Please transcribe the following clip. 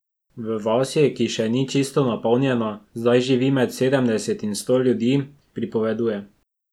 V vasi, ki še ni čisto napolnjena, zdaj živi med sedemdeset in sto ljudi, pripoveduje.